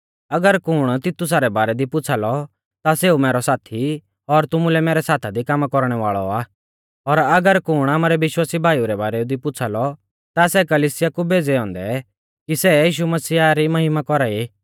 अगर कुण तितुसा रै बारै दी पुछ़ा लौ ता सेऊ मैरौ साथी और तुमुलै मैरै साथा दी कामा कौरणै वाल़ौ आ और अगर कुण आमारै विश्वासी भाईऊ रै बारै दी पुछ़ा लौ ता सै कलिसिया कु भेज़ै औन्दै कि सै यीशु मसीहा री महिमा कौरा ई